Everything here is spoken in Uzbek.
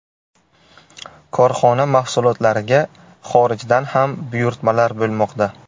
Korxona mahsulotlariga xorijdan ham buyurtmalar bo‘lmoqda.